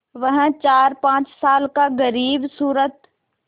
वह चारपाँच साल का ग़रीबसूरत